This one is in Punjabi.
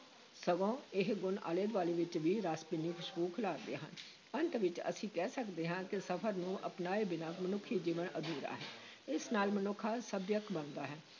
ਸਗੋਂ ਇਹ ਗੁਣ ਆਲੇ-ਦੁਆਲੇ ਵਿਚ ਵੀ ਰਸ ਭਿੰਨੀ ਖੁਸ਼ਬੂ ਖਿਲਾਰਦੇ ਹਨ ਅੰਤ ਵਿਚ ਅਸੀਂ ਕਹਿ ਸਕਦੇ ਹਾਂ ਕਿ ਸਫ਼ਰ ਨੂੰ ਅਪਣਾਏ ਬਿਨਾਂ ਮਨੁੱਖੀ ਜੀਵਨ ਅਧੂਰਾ ਹੈ, ਇਸ ਨਾਲ ਮਨੁੱਖ ਸੱਭਿਅਕ ਬਣਦਾ ਹੈ।